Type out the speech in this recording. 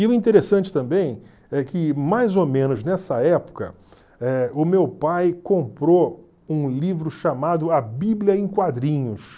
E o interessante também é que, mais ou menos nessa época, eh o meu pai comprou um livro chamado A Bíblia em Quadrinhos.